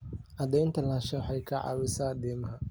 Cadaynta lahaanshaha waxay ka caawisaa deymaha.